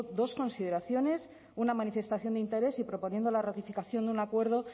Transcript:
dos consideraciones una manifestación de interés y proponiendo la ratificación de un acuerdo